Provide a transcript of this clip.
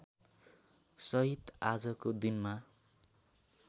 सहित आजको दिनमा